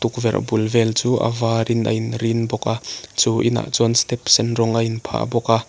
bul vel chu a var in a in rin bawk a chu inah chuan step sen rawng a in phah bawk a.